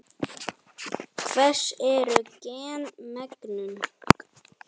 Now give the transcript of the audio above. Hvers eru gen megnug?